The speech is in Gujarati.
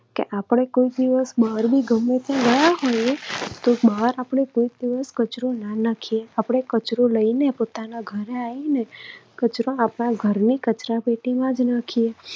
કે આપણે કોઈ દિવસ બહાર પણ ગમે ત્યાં ગયા હોઈએ તો બહાર આપણે કચરો ના નાખીએ. આપણે કચરો લઈને આપણા ઘરે આવીને કચરો આપણા ઘરની કચરાપેટીમાં જ નાખીએ.